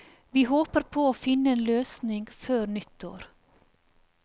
Vi håper på å finne en løsning før nyttår.